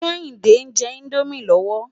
Kehinde njè Indómi lòwó